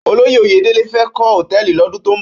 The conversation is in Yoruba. Ólóyé Oyedele fè kò hótèlí lòdún tó n bò